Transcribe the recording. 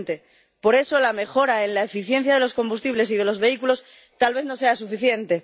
2020 por eso, la mejora en la eficiencia de los combustibles y de los vehículos tal vez no sea suficiente.